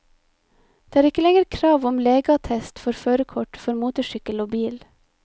Det er ikke lenger krav om legeattest for førerkort for motorsykkel og bil.